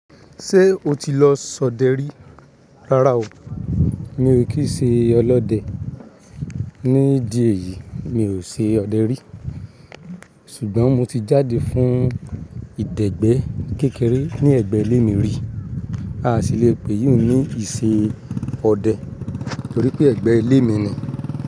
Ṣé o ti lọ sọdẹ rí? Rárá o, mi ò kí ṣe ọlọ́dẹ. Ní ìdí èyí mi ò ṣe ọdẹ rí. Ṣùgbọ́n mo ti jáde fún ìdẹ̀gbẹ́ kékeré ní ẹ̀gbẹ́ ilé mi rí. A sì le pè iyun ní ìsẹ Ọdẹ torí pé ẹ̀gbẹ́ ilé mi ni.